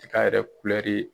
Saga yɛrɛ kurɛri